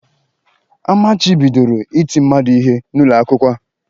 Amachibidoro iti mmadu ihe n'ụlọ akwụkwọ a